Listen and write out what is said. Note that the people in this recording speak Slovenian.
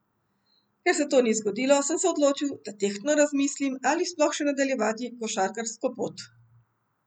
Ker se to ni zgodilo, sem se odločil, da tehtno razmislim, ali sploh še nadaljevati košarkarsko pot.